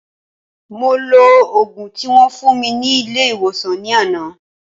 Mo lo ògùn tí wón fún mi ní ilé ìwòsàn ní àná